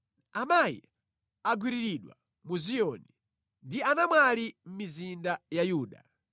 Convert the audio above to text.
Amayi agwiriridwa mu Ziyoni, ndi anamwali mʼmizinda ya Yuda.